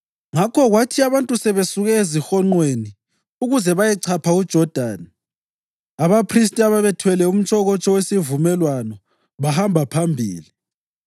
Ngakho kwathi abantu sebesuke ezihonqweni ukuze bayechapha uJodani, abaphristi ababethwele umtshokotsho wesivumelwano bahamba phambili.